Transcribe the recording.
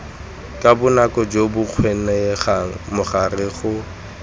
ka bonako jo bokgonegang morago